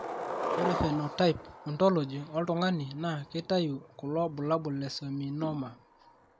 Ore Phenotype Ontology Oltung'ani naa keitayu kulo bulabol le Seminoma.